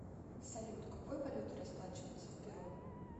салют какой валютой расплачиваются в перу